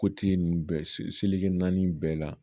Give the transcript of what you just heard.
ninnu bɛɛ naani bɛɛ la